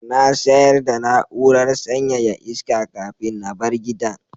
Na sayar da na'urar sanyaya iska kafin na bar gidan.